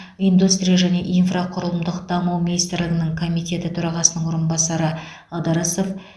индустрия және инфрақұрылымдық даму министрлігінің комитеті төрағасының орынбасары ыдырысов